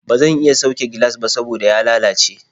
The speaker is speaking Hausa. Ba zan iya sauke gilas ba saboda ya lalace.